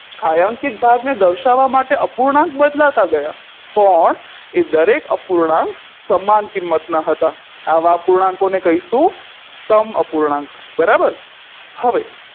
છાંયાંકીત ભાગને દર્શાવવા માટે અપૂર્ણાંક બદલાતા ગયા પણ એ દરેક અપૂર્ણાંક સમાન કિંમતના હતા આવા પૂર્ણાંકોને કહીશું સમઅપૂર્ણાંક બરાબર હવે